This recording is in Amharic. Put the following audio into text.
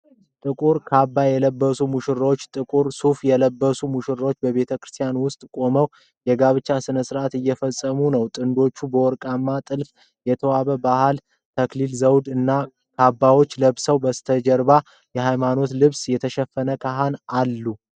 ጥቁር ካባ የለበሰች ሙሽራና ጥቁር ሱፍ የለበሰ ሙሽራ በቤተክርስቲያን ውስጥ ቆመው የጋብቻ ስነ ስርአት እየፈጸሙ ነው። ጥንዶቹ በወርቃማ ጥልፍ የተዋበ ባህላዊ የተክሊል ዘውዶች እና ካባዎች ለብሰዋል። በስተጀርባ በሃይማኖታዊ ልብስ የተሸፈኑ ካህናት አሉ።